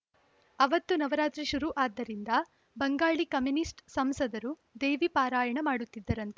ಅವತ್ತು ನವರಾತ್ರಿ ಶುರು ಆದ್ದರಿಂದ ಬಂಗಾಳಿ ಕಾಮಿನಿಸ್ಟ್ ಸಂಸದರು ದೇವಿ ಪಾರಾಯಣ ಮಾಡುತ್ತಿದ್ದರಂತೆ